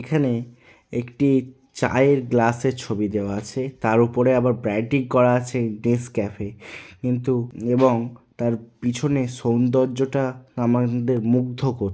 এখানে একটি চায়ের গ্লাসের ছবি দেওয়া আছে তার উপরে আবার ব্রান্টিং করা আছে নেসক্যাফে কিন্তু এবং তার পিছনে সৌন্দর্যটা আমাদের মুগ্ধ কর --